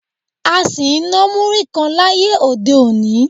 A sì ń ná múrí kan láyé òde-òní